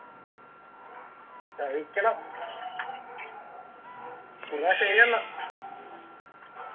കഴിക്കണം എന്ന ശെരിയെന്ന